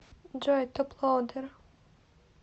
джой топлоудер